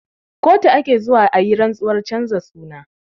Kotu ake zuwa ayi rantsuwar canza suna